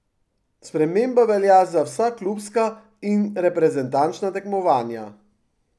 Sprememba velja za vsa klubska in reprezentančna tekmovanja.